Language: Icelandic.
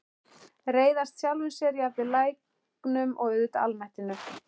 Reiðast sjálfum sér, jafnvel læknum- og auðvitað almættinu.